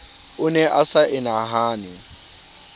o ne a sa enahane